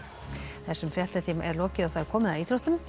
þessum fréttatíma er lokið og komið að íþróttum